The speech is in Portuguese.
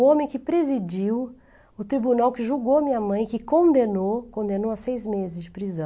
O homem que presidiu o tribunal, que julgou minha mãe, que condenou, condenou a seis meses de prisão.